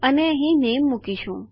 અને અહીં નામે મૂકીશું